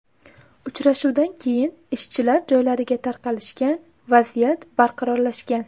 Uchrashuvdan keyin ishchilar joylariga tarqalishgan, vaziyat barqarorlashgan.